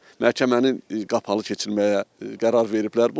Məhkəmənin qapalı keçirməyə qərar veriblər.